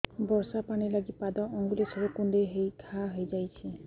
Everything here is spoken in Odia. ବର୍ଷା ପାଣି ଲାଗି ପାଦ ଅଙ୍ଗୁଳି ସବୁ କୁଣ୍ଡେଇ ହେଇ ଘା ହୋଇଯାଉଛି